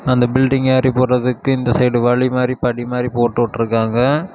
அந்த பில்டிங் ஏரி போறதுக்கு இந்த சைடு வழி மாரி படி மாரி போடுட்ருக்காங்க.